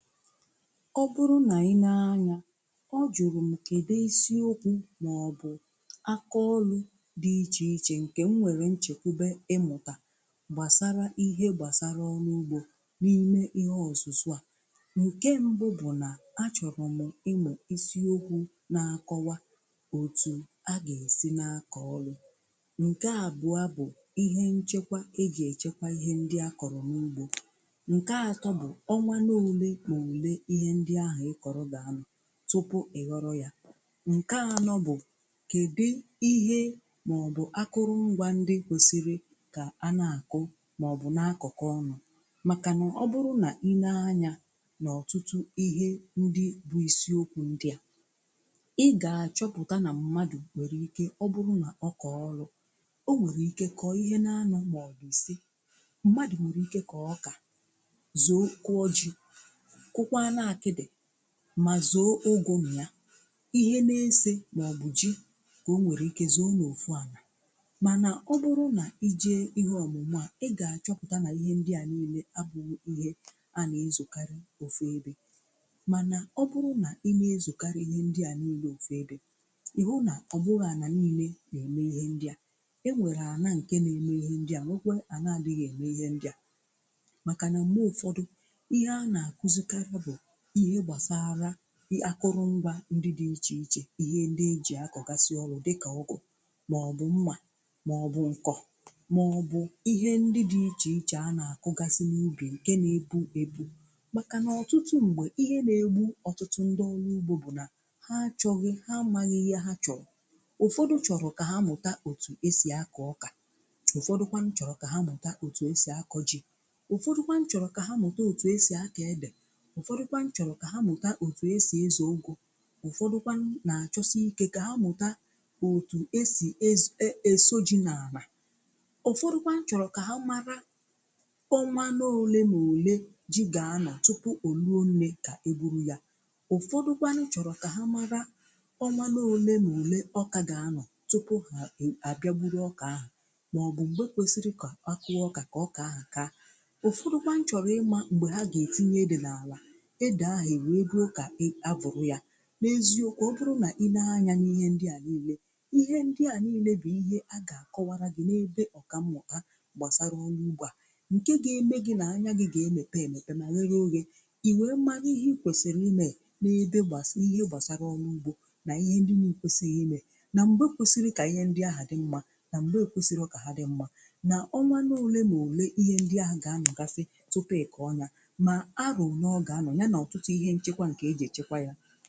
Ọ bụrụ nà i nee anya ọ jụ̀rụ̀ m kedè isi okwu màọbụ̀ akọ̀ ọlụ̀ dị iche ichè ǹkè m nwèrè nchekwube ịmụ̀tà gbasarà ihe gbasarà n'ọrugbo n’ime ihe ọ̀zụ̀zụ̀ à. Nke mbụ bụ̀ nà a chọ̀rọ̀ m ịmụ̀ isi okwu̇ na-akọ̀wa otù a gà-èsi na-akọ̀ ọlụ̀. Nke àbụ̀a bụ̀ ihe nchekwa e jè echekwa ihe ndị a kọ̀rọ̀ n’ugbò. Nke atọ bụ ọnwa n'ole m'ole ihe ndị ahụ̀ ị kọ̀rọ̀ gà-anọ̀ tụpụ̀ ị ghọ̀rọ̀ yà. Nkè ànọ̀ bụ̀ kedì ihe màọbụ̀ akụrụ̀ ngwà ndị kwesiri kà a na-akụ̀ màọbụ̀ na-akọ̀kọ̀ ọnu, màkà nà ọ bụrụ̀ nà i nee anya n’ọ̀tụtụ̀ ihe ndị bụ̀ isiokwu ndị à ị gà-achọpụ̀tà nà mmadụ̀ nwere ike ọ bụrụ̀ nà ọ kọọ ọrụ̀, o nwèrè ike kọọ ihe nȧ-anọ̀ maọ̀bụ̀ ise. Mmadụ̀ nwèrè ike kọọ ọkà zòo kụọ ji kụkwanụ akịdị ma zoo ụgụ nịya ihe na-ise nọọbụji ka o nwere ike zoo na ofu ana mana ọ bụrụ na i jee ihe ọmụmụ a ị ga-achọpụta na ihe ndị à niile abụghị ihe a na-ezokarị ofu ebe mana ọ bụrụ na ine ezokarị ihe ndị à niile ofu ebe ị hụ na ọ bụrọ ana niile na-eme ihe ndị a. E nwere ana nke na-eme ihe ndị a nwokwe ana-adịghị eme ihe ndị a makana mgbe ụfọdụ, ihe a na-akụzikarị bụ ihe gbasarụa akụrụ ngwa ndị dị̀ iche ichè ihe ndị e ji akọgasị ọrụ dịkà ọgụ màọbụ̀ mmà màọbụ̀ nkọ̀ màọbụ̀ ihe ndị dị̀ iche ichè a na-akụgasị n’ubì nkè na-epu epu̇ makà na ọtụtụ ṁgbe, ihe na-egbu ọtụtụ ndị ọlụ̀ ugbo bụ̀ na ha achọ̀ghị̀ ha amaghị̀ ihe ha chọ̀rọ̀. Ụfọdụ̀ chọrọ̀ ka ha mụtà otù e si akọ̀ ọkà ụfọdụ̀kwàn chọrọ̀ ka ha mụtà otù e si akọ̀ jì, ụfọdụ̀kwàn chọrọ̀ ka ha mụtà otù e si akọ̀ edè, ụfọdụkwan chọrọ̀ ka ha mụta otu̇ e si eze ụgụ, ụfọdụkwan na-achọsi ike ka ha mụta otu esi eso eso ji n'ana, ụfọdụ̀kwàn chọrọ ka ha mara ọnwa n’ole na ole ji ga-anọ̀ tupu olu ole ka e buru ya, ụfọdụkwan chọrọ̀ ka ha mara ọnwa n’ole na ole ọka ga-anọ̀ tupu ha e a bịagburu ọka ahụ̀ maọ̀bụ̀ m̀gbe kwèsịrị kà a kụọ ọka ka ọka ahụ̀ kaa, ụfọdụkwan chọrọ̀ ịma m̀gbè ha ga etinye ede n'alà ede ahụ̀ ewe ruo kà e a vụ̀rụ̀ yà. N’eziokwu, ọ bụrụ nà i nee anya n’ihe ndị à niile, ihe ndị à niile bụ̀ ihe a gà-àkọwara gị̀ n’ebe ọkà mmụta gbàsara ọlụ úgbó a nke ga-eme gị̇ nà anya gị̇ ga-emepè emepè mà ghere oghe, iwe mara ihe i kwesìrì imè n’ebe gbàsị̀ ihe gbàsara ọlụ ugbȯ nà ihe ndị nà-èkwesighi imè nà m̀gbe kwesiri kà ihe ndị ahụ̀ dị mmȧ nà m̀gbe ekwesịrọ kà ha dị mmȧ nà ọnwa nà ole mà ole ihe ndị ahụ̀ gà anọgasị tupu ị kọ̀ọ nyà na arọ ole ọ ga-anọ ya na ọtụtụ ihe nchekwa nke e ji echekwa ya.